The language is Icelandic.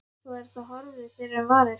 Svo er það horfið fyrr en varir.